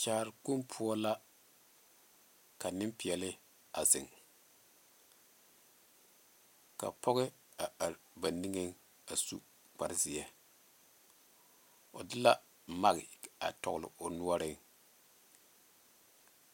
Kyaare kpoŋ poɔ la ka nempeɛle a zeŋ ka pɔge a are ba niŋeŋ a su kpare zeɛ o de la mike a dɔgele o noɔreŋ